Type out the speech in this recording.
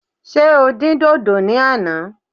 Ṣé o dín dòdò ní àná?